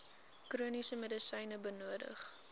chroniese medisyne benodig